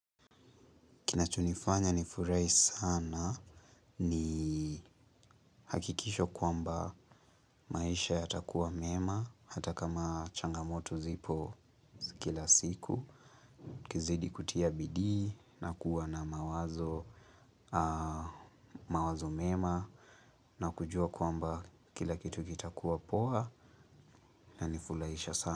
Kinachonifanya nifurahi sana ni hakikisho kwamba maisha ya takuwa mema, hata kama changamoto zipo kila siku, ukizidi kutia bidii na kuwa na mawazo mema na kujua kwamba kila kitu kita kuwa poa ina nifurahisha sana.